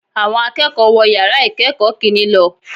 Awọn akẹ́kọ̀ọ́ wọ̀ yàrá ìkẹ́kọ̀ọ́ kìnní lọ